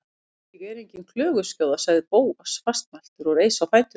Ég er engin klöguskjóða- sagði Bóas fastmæltur og reis á fætur.